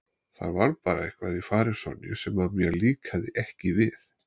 Það var bara eitthvað í fari Sonju sem mér líkaði ekki við.